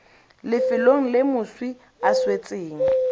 lefelong le moswi a swetseng